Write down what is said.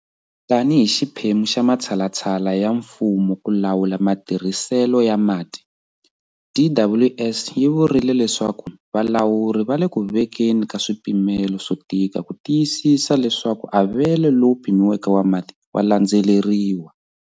Tanihi xiphemu xa matshalatshala ya mfumo ku lawula matirhiselo ya mati, DWS yi vurile leswaku valawuri va le ku vekeni ka swipimelo swo tika ku tiyisisa leswaku avelo lowu pimiweke wa mati wa landzeleriwa.